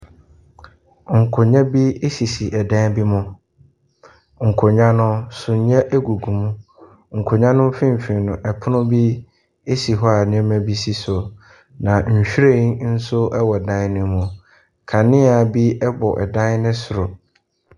Nkonnwa bi sisi dan bi mu. Nkonnwa no, sumiiɛ gugu mu. Nkonnwa no mfimfini no, pono bi si hɔ a nneɛma bi si so. Na nhwiren nso wɔ dan no mu. Kanea bi bɔ dan no soro.